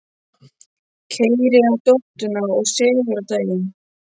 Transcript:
Keyrir á nóttunni og sefur á daginn.